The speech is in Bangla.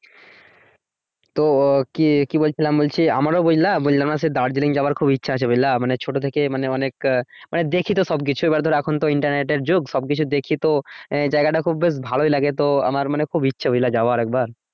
তো কি কি বলছিলাম বলছি আমারও বুঝলা দার্জিলিং যাবার খুব ইচ্ছে আছে বুঝলা মানে ছোট থেকেই মানে অনেক আহ দেখি তো সবকিছুই এবার ধরো এখন তো ইন্টারনেটের যুগ সবকিছু দেখি তো আহ জায়গা টা খুব বেশ ভালোই লাগে তো আমার মানে খুব ইচ্ছে বুঝলা যাওয়ার একবার